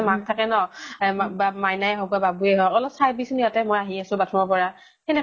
মাক থাকে ন ? এ মা বা মাইনাই হৌক বা বাবু য়ে হৌক, অলপ চাই দিবি চোন, মই অলপ আহি আছো bathroom ৰ পৰা, সেনেকে